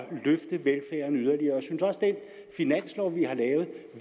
den finanslov vi har lavet